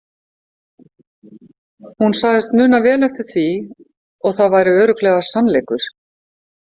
Hún sagðist muna vel eftir því og það væri örugglega sannleikur.